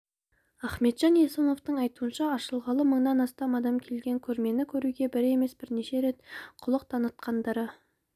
ахметжан есімовтың айтуынша ашылғалы мыңнан астам адам келген көрмені көруге бір емес бірнеше рет құлық танытқандары